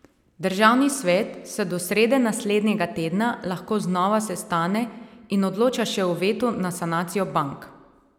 Državni svet se do srede naslednjega tedna lahko znova sestane in odloča še o vetu na sanacijo bank.